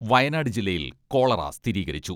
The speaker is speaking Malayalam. വയനാട് ജില്ലയിൽ കോളറ സ്ഥിരീകരിച്ചു.